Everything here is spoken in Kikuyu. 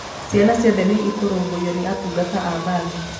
ciana ciothe nĩ ikũrũmbũiyo nĩ atungata a mbathi